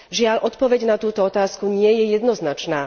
Žiaľ, odpoveď na túto otázku nie je jednoznačná.